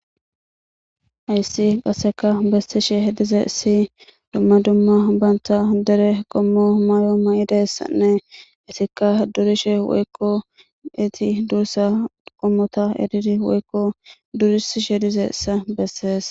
Ayssi qasseka bessishe hedize isi dumma dumma banta dere qommo mayo may'ideyssanne isikka durishe woykko eti dursa qommota edidi woykko durisishe dize issa bessees.